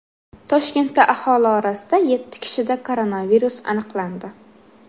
Toshkentda aholi orasida yetti kishida koronavirus aniqlandi.